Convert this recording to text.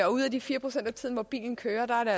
og ud af de fire procent af tiden hvor bilen kører er